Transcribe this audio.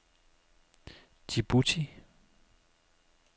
Djibouti